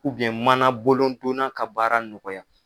manabolodonna ka baara nɔgɔya